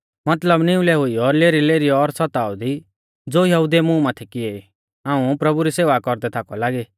मतलब निउलै हुइयौ लेरीलेरीयौ और सताव दी ज़ो यहुदिऊ ऐ मुं माथै किएई हाऊं प्रभु री सेवा कौरदै थाकौ लागी